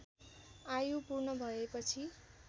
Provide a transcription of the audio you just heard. आयु पूर्ण भएपछि